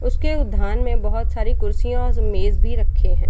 उसके उधान में बहुत सारी कुर्सियाँ और मेज भी रखे हैं।